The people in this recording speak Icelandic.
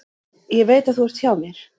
Ég veit að þú ert hjá mér.